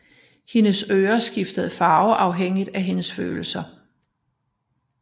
Hendes ører skifter farve afhængig af hendes følelser